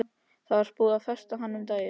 Þú varst búin að festa hana á um daginn.